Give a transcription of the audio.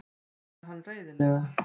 svarar hann reiðilega.